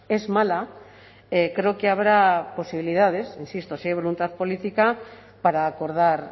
es mala creo que habrá posibilidades insisto si hay voluntad política para acordar